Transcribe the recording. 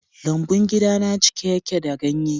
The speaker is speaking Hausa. Lambun gidana cike yake da ganye.